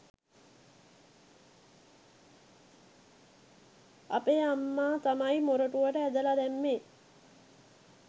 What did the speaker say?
අපේ අම්ම තමයි මොරටුවට ඇදල දැම්මේ